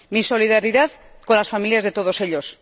Mi solidaridad con las familias de todos ellos.